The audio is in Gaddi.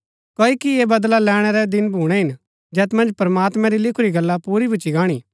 क्ओकि ऐह बदला लैणैं रै दिन भूणै हिन जैत मन्ज प्रमात्मां री लिखुरी गला पुरी भूच्ची गाणी